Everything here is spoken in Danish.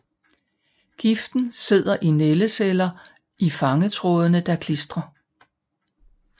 Giften sidder i nældeceller i fangtrådene der klistrer